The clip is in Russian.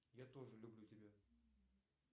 я тоже люблю тебя